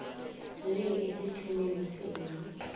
le esiqhemeni senu